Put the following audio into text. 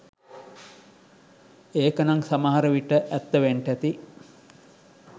ඒකනං සමහරවිට ඇත්ත වෙන්ටැති